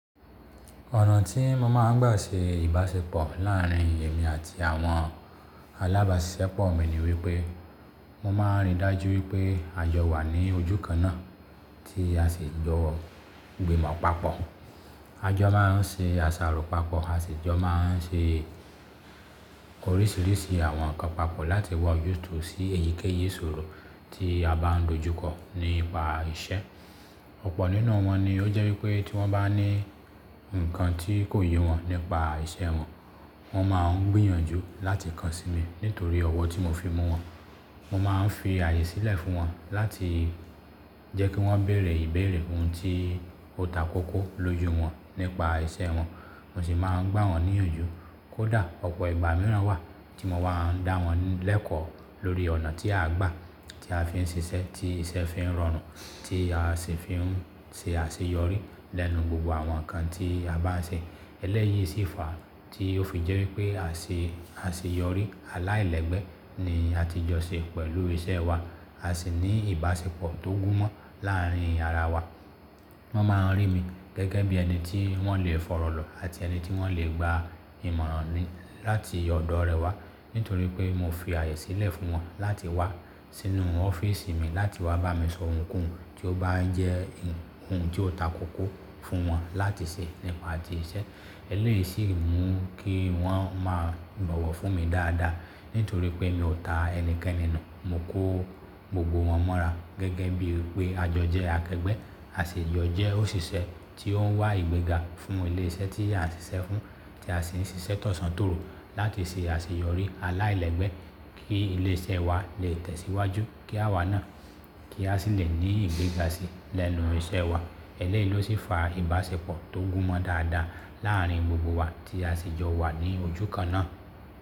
Ọ̀nà tí mo máa ń gbà ṣe ìbáṣepọ̀ láàárín èmi àti àwọn alábàáṣiṣẹ́ pọ̀ mi ni wípé, mo máa ń rí i dájú wípé àjọ wà ní ojú kan náà tí a sì jọ gbìmọ̀ papọ̀. A jọ máa ń ṣe àsàrò papọ̀, a sì jọ máa ń ṣe oríṣiríṣi àwọn nǹkan papọ̀ láti wá ojútùú sí èyíkéyìí ìṣòro tí a bá ń dojú kọ nípa iṣẹ́. Ọ̀pọ̀ nínú wọn ni ó jẹ́ wípé tí wón bá ní nǹkan tí kò yé wọn nípa iṣẹ́ wọn, wọ́n máa ń gbìyànjú láti kàn sí mi nítorí ọ̀wọ̀ tí mo fi mú wọn. Mo máa ń fi ààyè sílẹ̀ fún wọn láti jẹ́ kí wón béèrè ìbéèrè ohun tí ó takókó lójú wọn nípa iṣẹ́ wọn, mo sì máa ń gbá wọ́n níyànjú. Kódà ọ̀pọ̀ ìgbà mìíràn wà tí mo máa ń dá wọn lẹ́kọ̀ọ́ lórí ọ̀nà tí àá gbà, tí a fi ń ṣiṣẹ́, tí iṣẹ́ fi ń rọrùn, tí a sì fi ń ṣe àṣeyọrí lẹ́nu gbogbo àwọn nǹkan tí a bá ń ṣe. Elẹ́yìí sì fà á tí ó fi jẹ́ wípé àń ṣe, àṣeyọrí aláìlẹ́gbẹ́ ni a ti jọ ṣe pẹ̀lú iṣẹ́ wa. A sì ní ìbáṣepọ̀ tó gún mọ́ láàárín yàrá wa. Wón máa ń rí mi gẹ́gẹ́ bí ẹni tí wón lè fọ̀rọ̀lọ̀ àti ẹni tí wón lè gba ìmọ̀ràn ni láti ọ̀dọ̀ rẹwà nítorí pé mo fi ààyè sílẹ̀ fún wọn láti wá sínú ọ́fíísì mi, láti wá bá mi sọ ohunkóhun tí ó bá ń jẹ́ ohun tí ó takókó fún wọn láti ṣe nípa ti iṣẹ́. Elẹ́yìí sì mú kí wọ́n máa bọ̀wọ̀ fún mi dáadáa nítorí pé mi ò ta ẹnikẹ́ni nù. Mo kó gbogbo wọn mọ́ra gẹ́gẹ́ bíi pé àjọ jẹ́ akẹgbẹ́, àṣì jọ jẹ́ òṣìṣẹ́ tí ó ń wá ìgbéga fún ilé iṣẹ́ tí a ń ṣiṣẹ́ fún, tí a sì ń ṣiṣẹ́ t'ọ̀sán tòru láti ṣe àṣeyọrí aláìlẹ́gbẹ́ kí ilé iṣẹ́ wa lè tẹ̀síwájú kí a wà náà, kí a sì lè ní ìgbéga sí lẹ́nu iṣẹ́ wa. Elẹ́yìí ló sì fa ìbáṣepọ̀ tó gún mọ dáadáa láàárín gbogbo wa tí a sì jọ wà ní ojú kan náà.